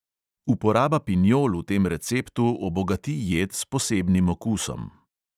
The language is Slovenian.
Uporaba pinjol v tem receptu obogati jed s posebnim okusom.